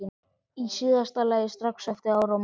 Í síðasta lagi strax eftir áramót.